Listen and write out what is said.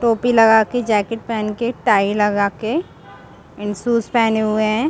टोपी लगा के जैकेट पहन के टाई लगा के एंड शूज पेहने हुए है ।